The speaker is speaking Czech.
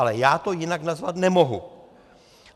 Ale já to jinak nazvat nemohu.